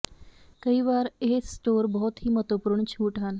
ਕਈ ਵਾਰ ਇਹ ਸਟੋਰ ਬਹੁਤ ਹੀ ਮਹੱਤਵਪੂਰਨ ਛੂਟ ਹਨ